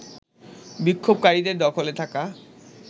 বিক্ষোভকারীদের দখলে থাকা